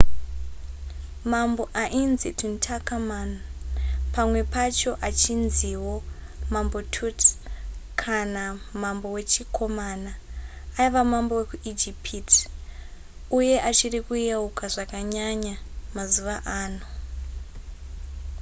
mambo ainzi tutankhamun pamwe pacho achinziwo mambo tut kana mambo wechikomana aiva mambo wekuijipiti uye achiri kuyeukwa zvakanyanya mazuva ano